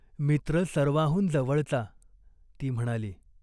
मित्र सर्वाहून जवळचा." ती म्हणाली.